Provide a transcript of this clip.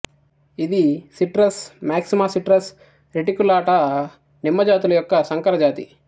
ఇది citrus maxima citrus reticulata నిమ్మజాతుల యొక్క సంకరజాతి